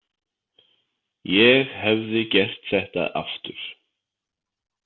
Ég hefði gert þetta aftur.